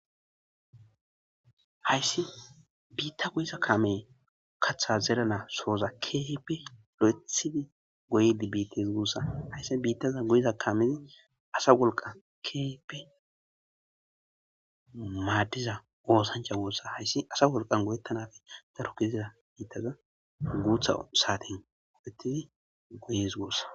hayssi biitta goyiza kamey kaththa zerana sooza keehipi lo7ethidi goydi biittis guossa hayssi biittaza goyiza kamezi asa wolqa kipi maaddiza oosancha goossa hayssi asa wolqan goyettanafi darokiziza biittaza guutha saaten oletidi goyes goossa